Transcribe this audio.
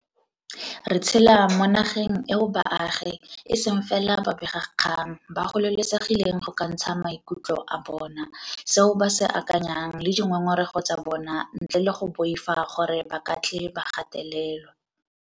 Re tshela mo na geng eo baagi, e seng fela babega kgang, ba gololesegileng go ka ntsha maikutlo a bona, seo ba se akanyang le dingongorego tsa bona ntle le go boifa gore ba ka tle ba gatelelwa.